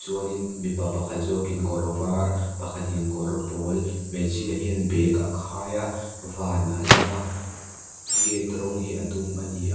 chuanin mipa pakhat zawkin kawr var pakhatin kawr pawl hmeichhia hian bag a khai a van a lang a gate rawng hi a dum a ni a.